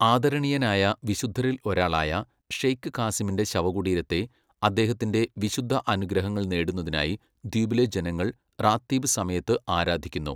ആദരണീയനായ വിശുദ്ധരിൽ ഒരാളായ ഷെയ്ഖ് കാസിമിന്റെ ശവകുടീരത്തെ അദ്ദേഹത്തിന്റെ വിശുദ്ധ അനുഗ്രഹങ്ങൾ നേടുന്നതിനായി ദ്വീപിലെ ജനങ്ങൾ റാത്തീബ് സമയത്ത് ആരാധിക്കുന്നു.